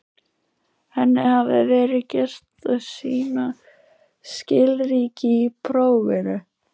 Henni hafði verið gert að sýna skilríki í prófinu.